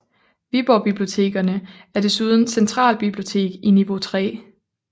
Viborg Bibliotekerne er desuden centralbibliotek i niveau 3